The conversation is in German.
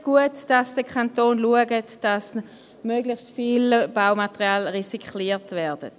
Gut, dass der Kanton schaut, dass möglichst viel Baumaterial recycelt wird.